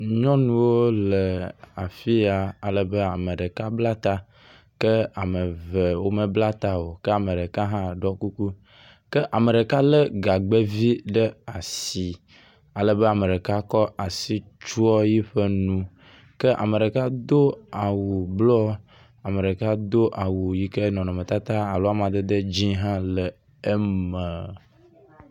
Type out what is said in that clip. Nyɔnuwo le afi ya alebe ame ɖeka bla ta ke ame eve womebla ta o ke ame ɖeka hã ɖɔ kuku ke ame ɖeka lé gagbɛvi ɖe asi alebe ame ɖeka kɔ asi tsɔ eƒe nu ke ame ɖeka do awu blu, ame ɖeka do awu yi ke nɔnɔmetata alo amadede dzĩ hã le eme.